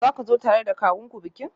Za ku zo tare da kawunku bikin?